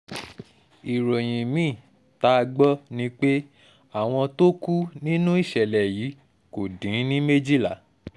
ìròyìn mi-ín tá a gbọ́ ni pé àwọn tó kù nínú ìṣẹ̀lẹ̀ yìí kò dín ní méjìlá